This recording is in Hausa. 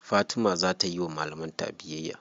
Fatima za ta yiwa malaman ta biyayya.